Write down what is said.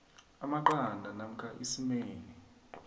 amaqanda namkha isimeni